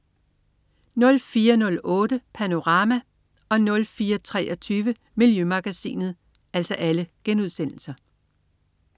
04.08 Panorama* 04.23 Miljømagasinet*